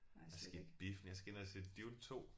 Jeg skal i biffen jeg skal ind og se Dune 2